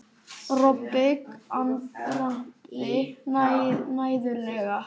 Kobbi andvarpaði mæðulega.